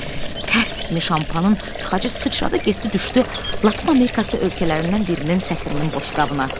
Tərs kimi şampanın tıxacı sıçradı, getdi düşdü Latın Amerikası ölkələrindən birinin səfirinin boşqabına.